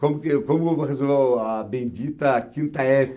Como que, como eu vou resolver a bendita quinta efe?